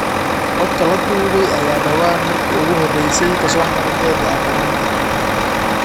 Codka la duubay ayaa dhawaan markii ugu horreysay kasoo muuqday The Atlantic.